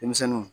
Denmisɛnninw